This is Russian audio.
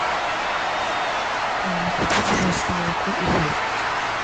купи пожалуйста молоко и хлеб